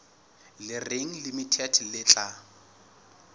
le reng limited le tla